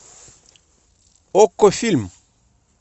окко фильм